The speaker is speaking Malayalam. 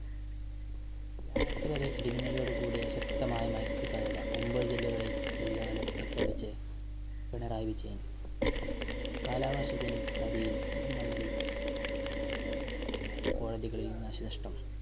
വ്യാഴാഴ്ച്ച വരെ ഇടിമിന്നലോടു കൂടിയ ശക്തമായ മഴയ്ക്ക് സാധ്യത. ഒന്‍പതു ജില്ലകളില്‍ yellow alert പ്രഖ്യാപിച്ച് പിണറായി വിജയന്‍. കാലാവര്‍ഷത്തില്‍ നദിയില്‍ മണ്ണില്‍ മണല്‍ വാരല്‍ നടന്നില്ല. കളിലും നാശ നഷ്ട്ടം.